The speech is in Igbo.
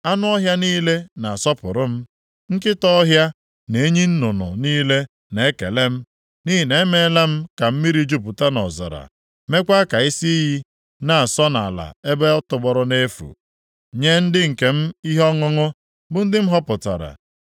Anụ ọhịa niile na-asọpụrụ m, nkịta ọhịa, na enyi nnụnụ niile na-ekele m, nʼihi na emeela m ka mmiri jupụta nʼọzara, meekwa ka isi iyi na-asọ nʼala ebe tọgbọrọ nʼefu, nye ndị nke m ihe ọṅụṅụ, bụ ndị m họpụtara.